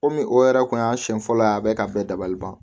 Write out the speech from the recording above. Komi o yɛrɛ tun y'a siɲɛ fɔlɔ ye a bɛ ka bɛɛ dabali ban